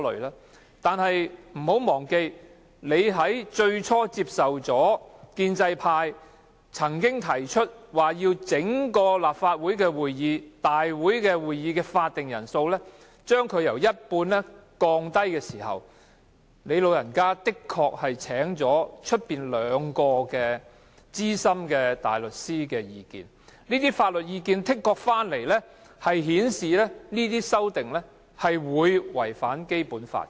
然而，可別忘記，建制派最初提出把立法會會議的法定人數由一半降低時，你確曾對外徵詢兩位資深大律師的意見，他們的意見是這些修訂的確會違反《基本法》。